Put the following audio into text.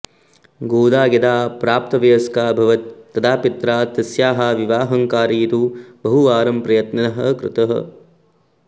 गोदा यदा प्राप्तवयस्का अभवत् तदा पित्रा तस्याः विवाहं कारयितुं बहुवारं प्रयत्नः कृतः